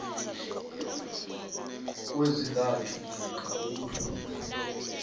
kwezintathu namkha ukudlula